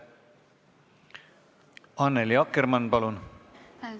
Annely Akkermann, palun!